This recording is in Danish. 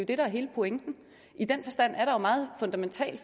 det der er hele pointen i den forstand er der jo meget fundamental